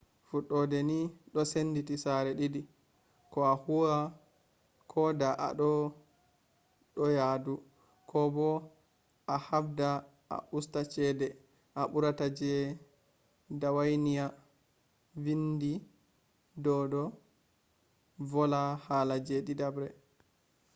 fudode ni do senditi sare didi: ko a huwa koda ado do yadu ko bo ahabda a usta chede a barata je dawainiya. vindi do’do vola hala je didabre